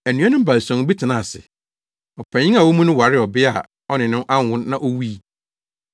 Anuanom baason bi tenaa ase. Ɔpanyin a ɔwɔ mu no waree ɔbea a ɔne no anwo na owui.